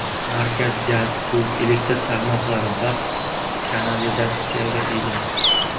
Markaz gaz, suv, elektr tarmoqlari va kanalizatsiyaga ega.